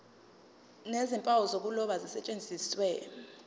nezimpawu zokuloba zisetshenziswe